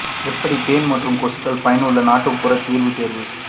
எப்படி பேன் மற்றும் கொசுக்கள் ஒரு பயனுள்ள நாட்டுப்புற தீர்வு தேர்வு